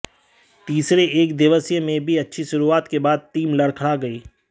तीसरे एकदिवसीय में भी अच्छी शुरुआत के बाद टीम लड़खड़ा गई